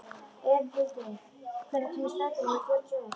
Einhildur, hvenær kemur strætó númer fjörutíu og eitt?